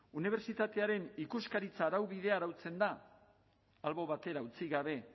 unibertsitatearen ikuskaritza araubidea arautzen da albo batera utzi gabe